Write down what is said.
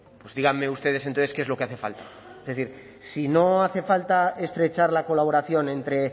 pues díganme ustedes entonces qué es lo que hace falta es decir si no hace falta estrechar la colaboración entre